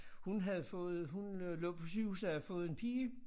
Hun havde fået hun øh lå på sygehuset havde fået en pige